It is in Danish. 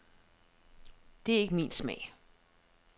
Det er ikke min smag.